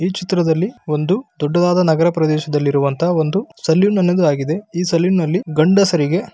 ಈ ಚಿತ್ರದಲ್ಲಿ ಒಂದು ದೊಡ್ಡದಾದ ನಗರ ಪ್ರದೇಶದಲ್ಲಿರುವಂತಹ ಒಂದು ಸಲೂನ್ ಅನ್ನೋದು ಆಗಿದೆ. ಈ ಸಲೂನ್ ನಲ್ಲಿ ಗಂಡಸರಿಗೆ --